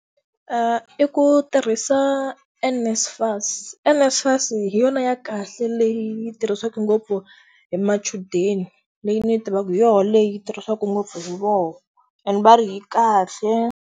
I ku tirhisa NSFAS. NSFAS hi yona ya kahle leyi tirhisaku ngopfu hi machudeni leyi ni yi tivaku hi yo leyi tirhisaku ngopfu hi vo ene va ri yi kahle.